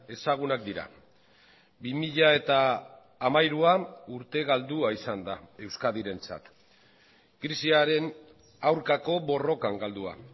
ezagunak dira bi mila hamairuan urte galdua izan da euskadirentzat krisiaren aurkako borrokan galdua